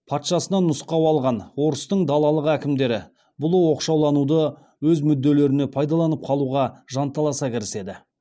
патшасынан нұсқау алған орыстың далалық әкімдері бұл оқшалануды өз мүдделеріне пайдаланып қалуға жанталаса кіріседі